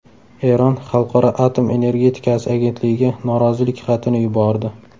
Eron Xalqaro atom energetikasi agentligiga norozilik xatini yubordi.